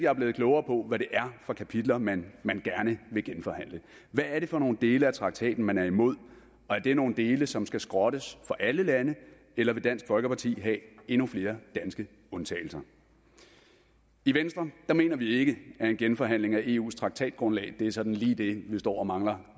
er blevet klogere på hvad det er for kapitler man gerne vil genforhandle hvad er det for nogle dele af traktaten man er imod og er det nogle dele som skal skrottes for alle lande eller vil dansk folkeparti have endnu flere danske undtagelser i venstre mener vi ikke at en genforhandling af eus traktatgrundlag er sådan lige det vi står og mangler